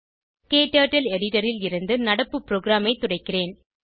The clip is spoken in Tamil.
க்டர்ட்டில் எடிட்டர் ல் இருந்து நடப்பு ப்ரோகிராமைத் துடைக்கிறேன்